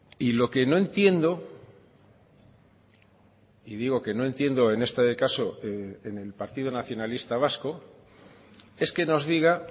y lo que no entiendo y digo que no entiendo en este caso en el partido nacionalista vasco es que nos diga